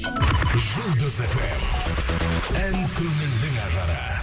жұлдыз фм ән көңілдің ажары